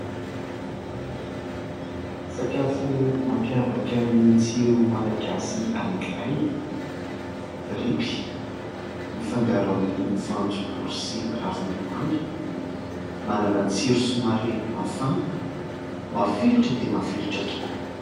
Sakafo mampiavaka ny tsiro malagasy anakiray. "Tripy" mifangaro amin'ny voanjobory sy ravom-bomanga. Manana tsiro somary mafana. Mafilotra dia mafilotra tokoa.